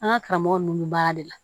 An ka karamɔgɔ ninnu bɛ baara de la